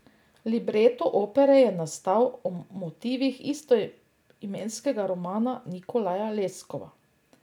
Libreto opere je nastal o motivih istoimenskega romana Nikolaja Leskova.